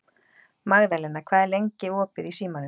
Magðalena, hvað er lengi opið í Símanum?